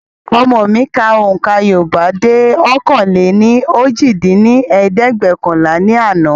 Ọmọ mi ka ohùnkà Yorùbá dé ọ̀kan-lé-ní-ojì dín ní ẹ̀ẹ́dẹ́gbẹ́ọ̀kànlá ní àná